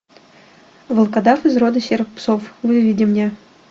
волкодав из рода серых псов выведи мне